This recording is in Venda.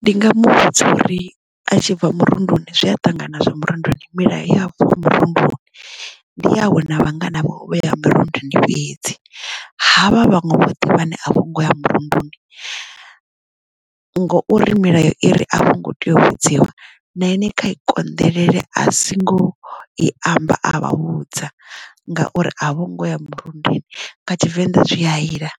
Ndi nga muvhudza uri a tshi bva murunduni zwi a ṱangana na zwo murunduni milayo ya afho murunduni ndi awe na vhangana vhawe vho yaho mirunduni fhedzi havha vhaṅwe vhoṱhe vhane a vho ngo ya murunduni ngouri milayo iri a vho ngo tea u vhudziwa na ine kha i konḓelele a singo i amba a vha vhudza ngauri a vhongo ya murundini kha tshivenḓa zwi a iḽa